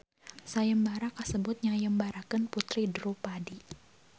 Sayembara kasebut nyayembarakeun puteri Drupadi.